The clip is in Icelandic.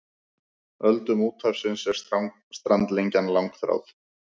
Öldum úthafsins er strandlengjan langþráð.